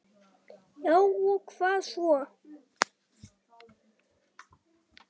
Já og hvað svo!